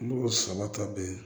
Mɔgɔ saba ta bɛɛ